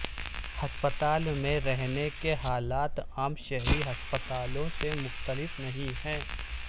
ہسپتال میں رہنے کے حالات عام شہری ہسپتالوں سے مختلف نہیں ہیں